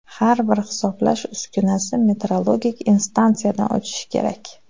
Har bir hisoblash uskunasi metrologik instansiyadan o‘tishi kerak.